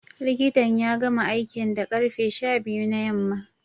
Likitan ya gama aikin da karfe sha biyu na yamma